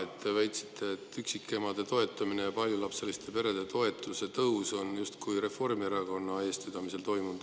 Te väitsite, et üksikemade toetamine ja paljulapseliste perede toetuse tõus on justkui Reformierakonna eestvedamisel toimunud.